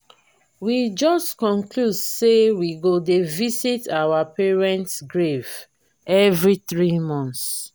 we just conclude say we go dey visit our parent grave every three months